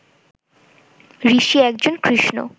ঋষি একজন কৃষ্ণ